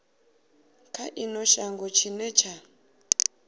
kha ino shango tshine tsha